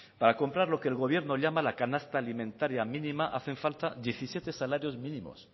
para comprar lo que el gobierno llama la canasta alimentaria mínima hacen falta diecisiete salarios mínimos